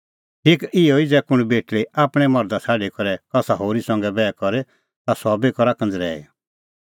ज़ै कुंण बेटल़ी आपणैं मर्धा छ़ाडी करै कसा होरी संघै बैह करे ता सह बी करा कंज़रैई